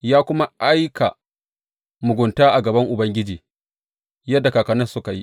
Ya kuma aika mugunta a gaban Ubangiji yadda kakanninsa suka yi.